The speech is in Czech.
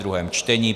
druhé čtení